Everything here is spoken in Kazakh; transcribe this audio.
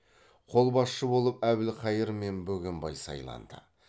қолбасшы болып әбілхайыр мен бөгенбай сайланды